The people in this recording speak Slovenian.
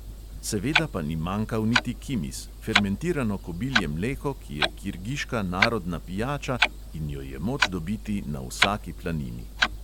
Seveda pa ni manjkal niti kimiz, fermentirano kobilje mleko, ki je kirgiška narodna pijača in jo je moč dobiti na vsaki planini.